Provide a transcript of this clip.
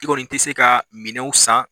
I kɔni i tɛ se ka minɛnw san